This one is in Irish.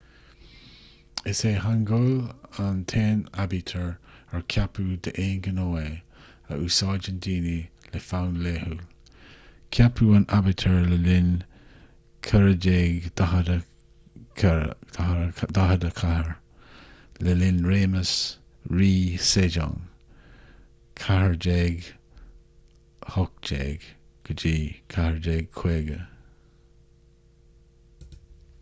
is é hangeul an t-aon aibítir ar ceapadh d'aon ghnó é a úsáideann daoine le fonn laethúil. ceapadh an aibítir i 1444 le linn réimeas rí sejong 1418 – 1450